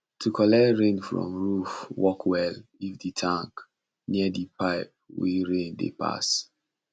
to collect rain from roof work well if the tank near the pipe wey rain dey pass